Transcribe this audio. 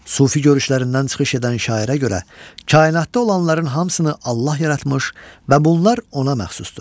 Sufi görüşlərindən çıxış edən şairə görə kainatda olanların hamısını Allah yaratmış və bunlar ona məxsusdur.